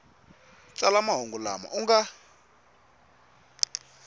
tsala mahungu lama u nga